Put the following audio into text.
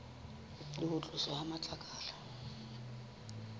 le ho tloswa ha matlakala